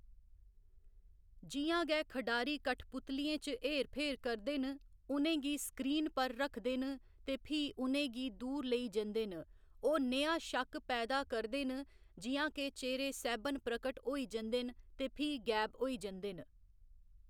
जि'यां गै खढारी कठपुतलियें च हेर फेर करदे न, उ'नें गी स्क्रीन पर रखदे न ते फ्ही उ'नें गी दूर लेई जंदे न, ओह्‌‌ नेहा शक्क पैदा करदे न जि'यां के चेह्‌रे सैह्‌‌‌बन प्रकट होई जंदे न ते फ्ही गैब होई जंदे न।